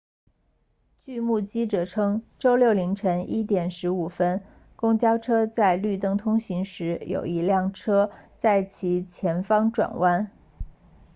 据目击者称周六凌晨1点15分公交车在绿灯通行时有一辆车在其前方转弯